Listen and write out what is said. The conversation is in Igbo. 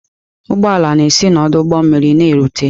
Ụgbọ ala na-esi n'ọdụ ụgbọ mmiri na-erute.